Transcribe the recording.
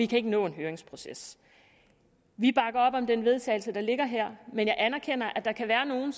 kan nå en høringsproces vi bakker op om det vedtagelse der ligger her men jeg anerkender at der kan være nogen